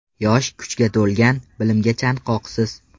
Yosh, kuchga to‘lgan, bilimga chanqoqsiz.